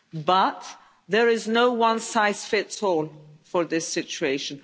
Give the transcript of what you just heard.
But, there is no one size fits all for this situation.